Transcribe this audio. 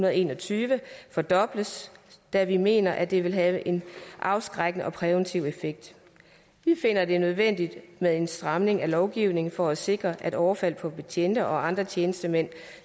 og en og tyve fordobles da vi mener at det vil have en afskrækkende og præventiv effekt vi finder det er nødvendigt med en stramning af lovgivningen for at sikre at overfald på betjente og andre tjenestemænd